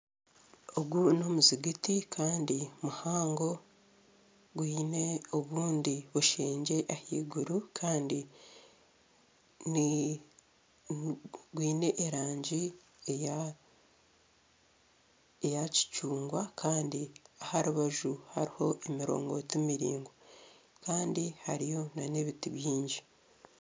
Ogu n'omuzijiti muhango kandi gwine obundi bushengye ahaiguru kandi gwine erangi eya kicungwa kandi aha rubaju hariho emirongoti miringwa kandi hariyo nana ebiti bingi